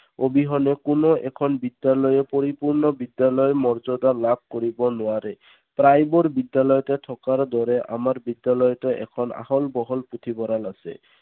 অবিহনে কোনো এখন বিদ্যালয়ে পৰিপূৰ্ণ বিদ্যালয়ৰ মৰ্য্যদা লাভ কৰিব নোৱাৰে। প্ৰায়বোৰ বিদ্যালয়তে থকাৰ দৰে আমাৰ বিদ্যালয়তো এখন আহল বহল পুথিভঁৰাল আছে।